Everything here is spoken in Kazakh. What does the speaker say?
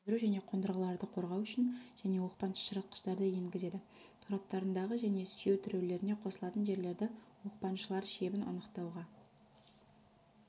сөндіру және қондырғыларды қорғау үшін және оқпан-шашыратқыштарды енгізеді тораптарындағы және сүйеу тіреулеріне қосылатын жерлердегі оқпаншылар шебін анықтауға